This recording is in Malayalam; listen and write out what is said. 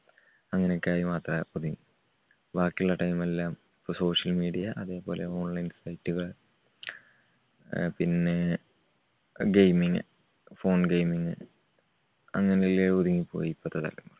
അങ്ങനെയൊക്കെ ആയി മാത്രം ഒതുങ്ങി ബാക്കിയുള്ള time എല്ലാം social media അതേപോലെ online site കൾ അഹ് പിന്നെ gaming phone gaming അങ്ങനെയെല്ലാം ഒതുങ്ങിപ്പോയി ഇപ്പത്തെ തലമുറ.